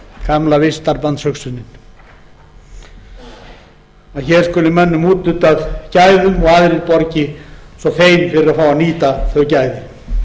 gamla vistarbandshugsunin að hér skuli mönnum úthlutað gæðum og aðrir borgi svo þeir verði að fá að nýta þau gæði